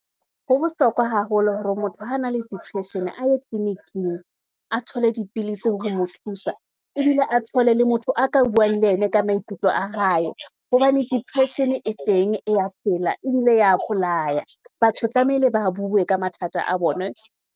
Ho bohlokwa haholo hore motho ha na le depression a ye tleliniking, a thole dipilisi hore mo thusa, ebile a thole le motho a ka buang le yene ka maikutlo a hae. Hobane depression e teng, e ya phela, ebile ya bolaya. Batho tlamehile ba bue ka mathata a bonwe.